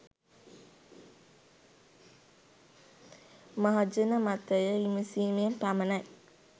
මහජන මතය විමසීමෙන් පමණයි